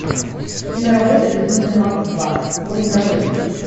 киноработа безумный макс два воин дороги